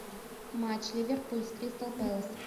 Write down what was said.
матч ливерпуль с кристал пэлас